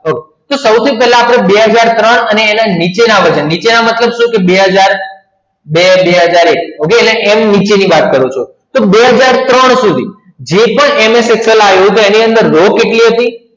તો સૌથી પહેલા આપણે બે હજાર ત્રણ અને નીચેનામાંથી બે હજાર બે બે હજાર ઍક okay નીચેની વાત કરું છું તો બે હજાર ત્રણ સુધી જે પણ MS Excel આવ્યું એની અંદર રો કેટલી હતી